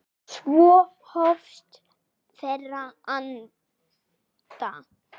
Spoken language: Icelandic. Svo hófust þeir handa.